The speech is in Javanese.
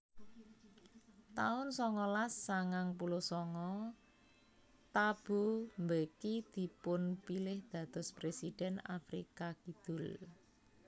taun songolas sangang puluh sanga Thabo Mbeki dipun pilih dados presiden Afrika Kidul